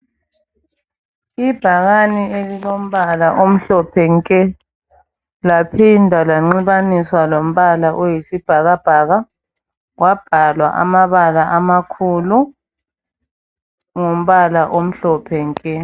Ibhakani ilombala omhlophe nke laphinda lanxibaniswa lombala oyisibhakabhaka kwabhalwa amabala amakhulu ngombala omhlophe nke.